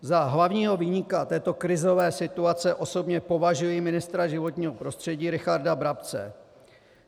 Za hlavního viníka této krizové situace osobně považuji ministra životního prostředí Richarda Brabce.